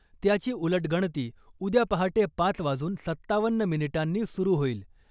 त्याची उलटगणती उद्या पहाटे पाच वाजून सत्तावन्न मिनिटांनी सुरु होईल .